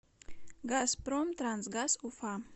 газпром трансгаз уфа